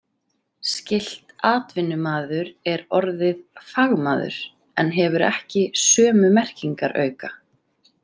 Skylt „atvinnumaður“ er orðið „fagmaður“ en hefur ekki sömu merkingarauka.